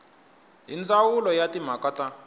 hi ndzawulo ya timhaka ta